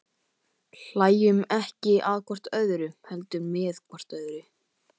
Hlæjum ekki hvort að öðru, heldur hvort með öðru.